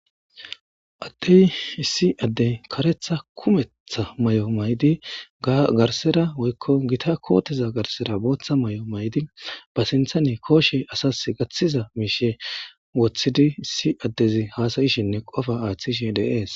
Addey issi addey karetha kumetha may,o maydi garsera woykko gita kootiza garsera booththa may,o maydi ba sinthane kooshe asas gaththiza miishe woththidi issi addezi haasayishinne qofa aaththishe deees.